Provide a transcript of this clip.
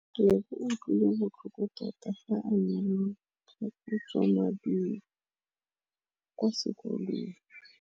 Lebogang o utlwile botlhoko tota fa a neelwa phokotsômaduô kwa sekolong.